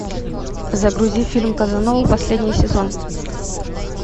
загрузи фильм казанова последний сезон